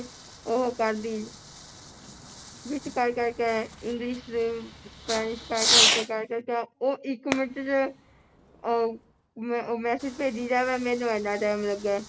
ਉਹ ਕਰਦੀ ਵਿਚ ਕੈ ਕੈ ਕੈ English ਦੇ Spanish ਕੈ ਕੈ ਕੈ ਕੈ ਕੈ ਉਹ ਇਕ ਮਿੰਟ ਵਿਚ ਅਹ message ਭੇਜੀ ਜਾਵੇ ਮੈਨੂੰ ਇੰਨਾਂ time ਲੱਗਿਆ